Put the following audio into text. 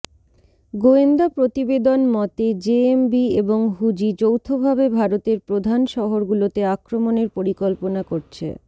গোয়েন্দা প্রতিবেদন মতে জেএমবি এবং হুজি যৌথভাবে ভারতের প্রধান শহরগুলোতে আক্রমণের পরিকল্পনা করছে